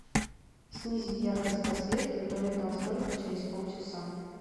снизить яркость подсветки у туалетного столика через полчаса